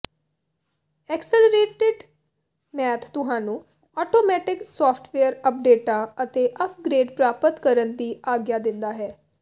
accelerated math ਤੁਹਾਨੂੰ automatic software ਅਪਡੇਟਾਂ ਅਤੇ ਅਪਗ੍ਰੇਡ ਪ੍ਰਾਪਤ ਕਰਨ ਦੀ ਆਗਿਆ ਦਿੰਦਾ ਹੈ